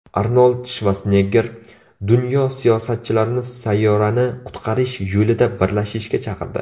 Arnold Shvarsenegger dunyo siyosatchilarini sayyorani qutqarish yo‘lida birlashishga chaqirdi.